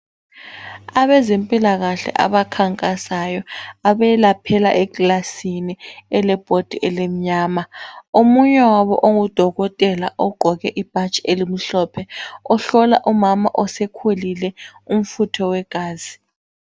Abezempilakahle abakhankasayo abelaphela ekilasini elebhodi elimnyama. Omunye wabo ungudokotela egqoke ibhatshi elimhlophe. Uhlola umama osekhulile umfutho wegazi.